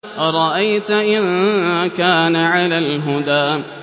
أَرَأَيْتَ إِن كَانَ عَلَى الْهُدَىٰ